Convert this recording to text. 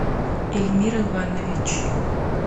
эльмир иванович